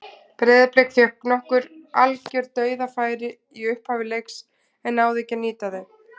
Breiðablik fékk nokkur algjör dauðafæri í upphafi leiks en náði ekki að nýta þau.